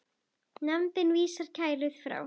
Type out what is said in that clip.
Nefndin vísaði kærunni frá.